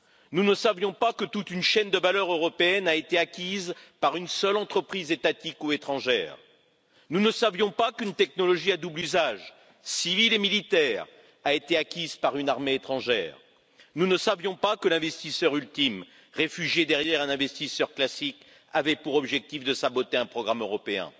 Nous ne savions pas que toute une chaîne de valeurs européennes a été acquise par une seule entreprise étatique ou étrangère, nous ne savions pas qu'une technologie à double usage, civil et militaire, a été acquise par une armée étrangère, nous ne savions pas que l'investisseur ultime, réfugié derrière un investisseur classique, avait pour objectif de saboter un programme européen.